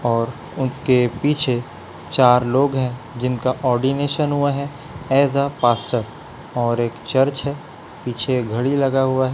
और उसके पीछे चार लोग है जिनका ऑरोर्डिनेशन हुआ है ऐज फास्टर और एक चर्च है पीछे घड़ी लगा हुआ हैं।